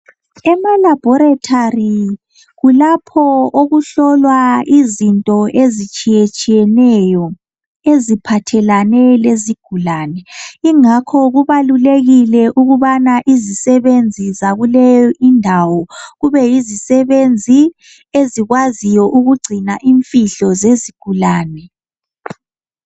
Ema laboratory kulapha okuhlolwa khona izinto ezitshiyeneyo eziphathelane lezigulane yingakho izisebenzi ezisebenza kuleyo indawo kube yizisebenzi ezikwaziyo ukugcina imfihlo zezigulane.